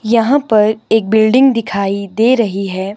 यहां पर एक बिल्डिंग दिखाई दे रही है।